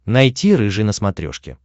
найти рыжий на смотрешке